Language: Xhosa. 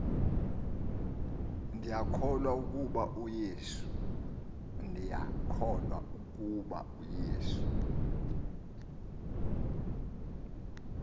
ndiyakholwa ukuba uyesu